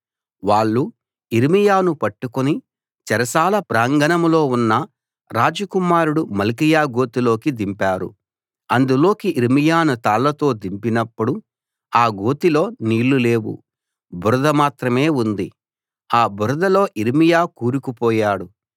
వాళ్ళు యిర్మీయాను పట్టుకుని చెరసాల ప్రాంగణంలో ఉన్న రాజకుమారుడు మల్కీయా గోతిలోకి దింపారు అందులోకి యిర్మీయాను తాళ్ళతో దింపినప్పుడు ఆ గోతిలో నీళ్లు లేవు బురద మాత్రమే ఉంది ఆ బురదలో యిర్మీయా కూరుకుపోయాడు